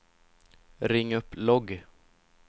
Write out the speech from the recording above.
ring upp logg